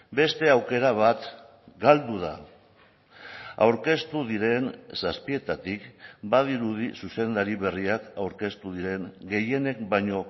beste aukera bat galdu da aurkeztu diren zazpietatik badirudi zuzendari berriak aurkeztu diren gehienek baino